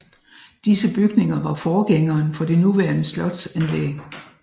Disse bygninger var forgængeren for det nuværende slotsanlæg